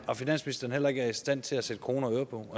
at finansministeren heller ikke er i stand til at sætte kroner og øre på